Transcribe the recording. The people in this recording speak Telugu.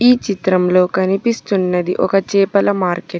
ఈ చిత్రంలో కనిపిస్తున్నది ఒక చేపల మార్కెట్ .